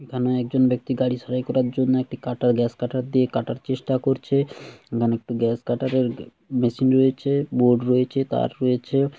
এখানে একজন ব্যাক্তি গাড়ি সারাই করার জন্যে একটি কাটার গ্যাস কাটার দিয়ে কাটার চেষ্টা করছে। এখানে একটু গ্যাস কাটারের মেশিন রয়েছে বোর্ড রয়েছে তার রয়েছে।